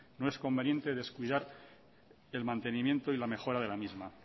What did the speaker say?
no es conveniente descuidar el mantenimiento y la mejora de la misma